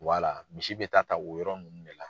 misi bɛ taa ta o yɔrɔ ninnu de la.